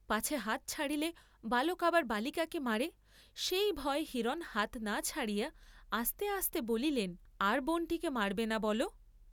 পাছে হাত ছাড়িলে বালক আবার বালিকাকে মারে, সেই ভয়ে হিরণ হাত না ছাড়িয়া আস্তে আস্তে বলিলেন আর বোন্‌টিকে মারবে না বল!